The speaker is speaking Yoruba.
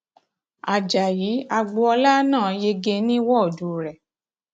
ajáyí agboola náà yege ní ní wọọdù rẹ